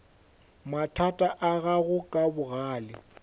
mathata a gago ka bogale